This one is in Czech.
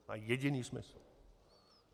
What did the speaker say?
To má jediný smysl.